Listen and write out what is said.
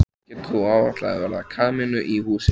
Getur þú áætlað verð á kamínu í húsið?